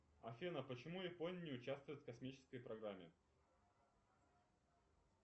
афина почему япония не участвует в космической программе